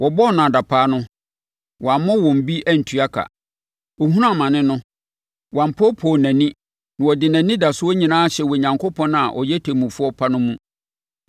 Wɔbɔɔ no adapaa no, wammɔ wɔn bi antua ka. Ɔhunuu amane no, wampoopoo nʼani na ɔde nʼanidasoɔ nyinaa hyɛɛ Onyankopɔn a ɔyɛ Ɔtemmufoɔ pa no mu.